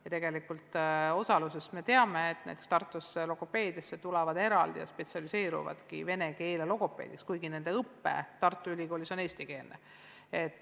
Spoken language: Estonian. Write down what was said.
Ja tegelikult osaluse põhjal me teame, et näiteks Tartusse tullakse õppima logopeediat ja paljud spetsialiseeruvadki vene keele logopeediks, kuigi nende õpe Tartu Ülikoolis on eestikeelne.